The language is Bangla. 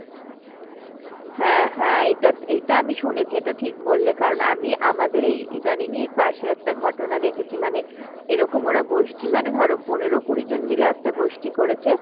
হ্যাঁ হ্যাঁ এটা, এটা আমি শুনেছি এটা ঠিক বললে কারণ আমি আমাদের এই ইদানিং পাশের একটা ঘটনা দেখেছি মানে এরকম ওরা গোষ্ঠী মানে ধরো পনেরো কুড়িজন মিলে একটা গোষ্ঠী করেছে